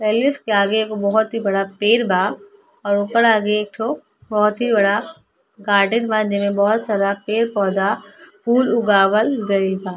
Palace के आगे एक गो बहुत बड़ा पेड़ बा और ओकर आगे एक ठो बहुत ही बड़ा गार्डन बा जेमे बहुत सारा पेड़ पौधा फूल उगवल गइल बा।